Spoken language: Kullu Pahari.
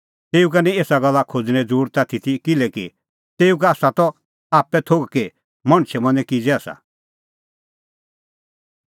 तेऊ का निं एसा गल्ला खोज़णें ज़रुरत आथी ती किल्हैकि तेऊ का आसा त आप्पै थोघ कि मणछे मनैं किज़ै आसा